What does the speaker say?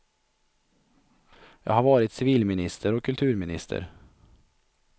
Jag har varit civilminister och kulturminister.